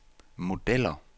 modeller